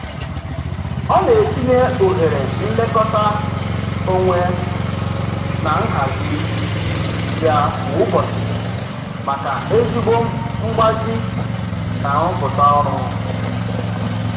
Ọ na-etinye ohere nlekọta onwe na nhazị ya kwa ụbọchị maka ezigbo mgbazi na nrụpụta ọrụ.